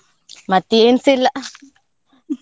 ಮತ್ತೆ ಏನ್ಸ ಇಲ್ಲಾ.